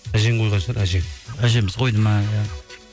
әжең қойған шығар әжең әжеміз қойды ма иә